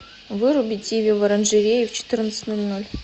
выруби тиви в оранжерее в четырнадцать ноль ноль